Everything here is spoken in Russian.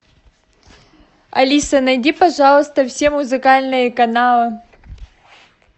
алиса найди пожалуйста все музыкальные каналы